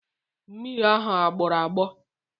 Mmiri ahụ agbọrọ agbọ?